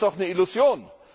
Das ist doch eine Illusion!